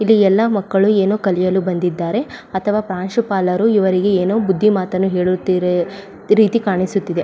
ಇಲ್ಲಿ ಎಲ್ಲ ಮಕ್ಕಳು ಏನೋ ಕಲಿಯಲು ಬಂದಿದ್ದಾರೆ ಅಥವಾ ಪ್ರಾಂಶುಪಾಲರು ಇವರಿಗೆ ಏನೋ ಬುದ್ದಿ ಮಾತನ್ನು ಹೇಳುತಿರೆ ರೀತಿ ಕಾಣಿಸುತ್ತಿದೆ .